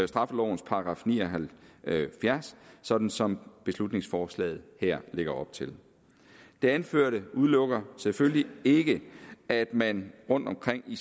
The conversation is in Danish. straffelovens § ni og halvfjerds sådan som beslutningsforslaget her lægger op til det anførte udelukker selvfølgelig ikke at man rundtomkring i